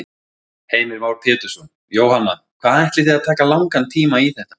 Heimir Már Pétursson: Jóhanna, hvað ætlið þið að taka langan tíma í þetta?